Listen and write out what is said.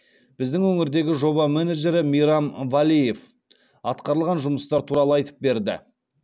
біздің өңірдегі жоба менеджері мейрам валеев атқарылған жұмыстар туралы айтып берді